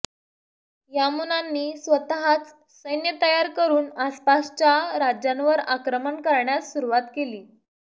यामुनांनी स्वतःच सैन्य तैयार करून आसपासच्या राज्यांवर आक्रमण करण्यास सुरुवात केली